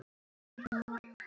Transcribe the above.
Lengi man til lítilla stunda